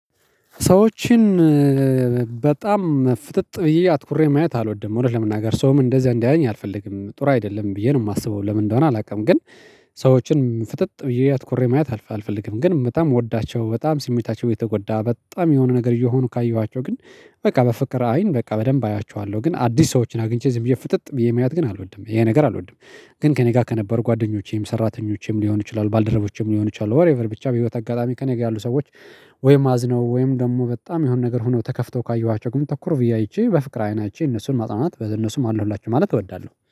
ሰዎችን በጣም ፍጥጥ ብዬ አትኩሬ ማየት አልወድም እውነት ለመናገር ሰውም እንደዛ እንዲያየኝ አልፈልግም ጥሩ አይደለም ብዬ ነው የማስበው ለምን እንደሆነ አላውቅም? ግን ሰዎችን ፍጥጥ ብየ አትኩሬ ማየት አልፈልግም። ግን በጣም የምወዳቸው በጣም ስሜታቸው የተጎዳ በጣም የሆነ ነገር እየሆኑ ካየኋቸው ግን በቃ በፍቅር አይን በቃ በደንብ አያቸዋለሁ ግን አዲስ ሰዎችን አግኝቼ ዝም ብዬ ፍጥጥ ብየ ማየት ግን አልወድም ይኸ ነገር አልወድም። ግን ከእኔ ጋር ከነበሩ ጓደኞቼም ሰራተኞችም ሊሆኑ ይችላሉ ባልደረቦች ሊሆኑ ይችላሉ ኋትኤቨር ብቻ በህይወት አጋጣሚ ከኔ ጋር ያሉ ሰዎች። ወይም አዝነው ወይም ደግሞ በጣም የሆነ ነገር ሆነው ተከፍተው ካየኋቸው ግን ትኩር ብዬ አይቼ በፍቅር አይን አይቼ እነሱን ማጽናናት እነሱን አለሁላችሁ ማለት እወዳለሁ።